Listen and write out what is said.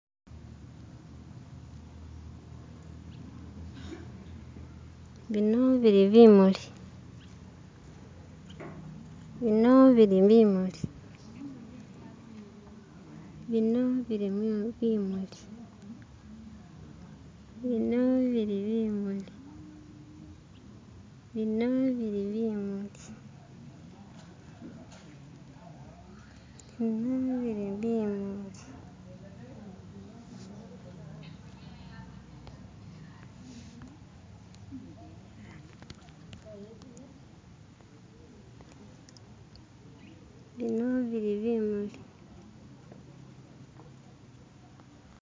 Bino bili bimuli bino bili bimuli bino bili bimuli bino bili bimuli bino bili bimuli bino bili bimuli bino bili bimuli